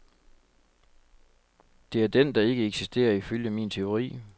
Det er den, der ikke eksisterer ifølge min teori.